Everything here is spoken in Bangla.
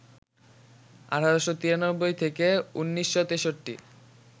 ১৮৯৩ - ১৯৬৩